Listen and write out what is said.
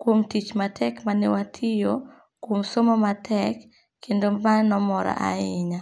kuom tich matek mane watiyo kuom somo matek kendo mae ne omora ahinya.